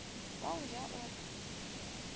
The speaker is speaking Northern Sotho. wa go ja o re